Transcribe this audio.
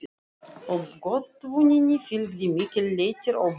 Uppgötvuninni fylgdi mikill léttir og von.